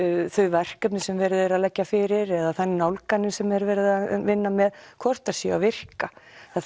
verkefnin sem verið er að leggja fyrir eða þær nálganir sem er verið að vinna með hvort þær séu að virka það